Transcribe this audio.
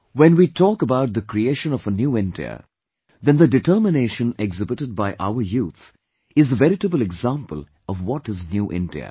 When we talk about the creation of a New India, then determination exhibited by our youth is the veritable example of what is New India